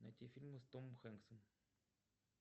найти фильмы с томом хэнксом